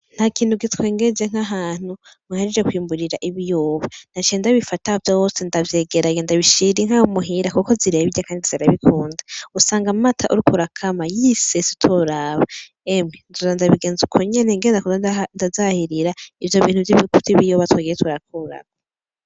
Ntakintu gitwengeje nk'ahantu muhejeje kwimbura Ibiyoba Naciye ndabifata vyose ndavyegeranya ndabishira Inka muhira Kandi zirabikunda usanga amata uriko urakama yisesa utoraba emwe nzoza ndabigenza ukwo nyene ngenda kuzahirira ivyobintu vy'ibiyoba twagiye turakuramwo.